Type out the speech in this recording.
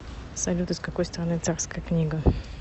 салют из какой страны царская книга